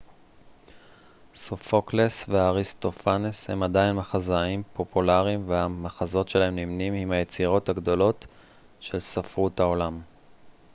סופוקלס ואריסטופנס הם עדיין מחזאים פופולריים והמחזות שלהם נמנים עם היצירות הגדולות של ספרות העולם